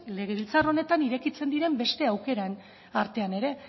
legebiltzar honetan irekitzen diren beste aukeren artean ere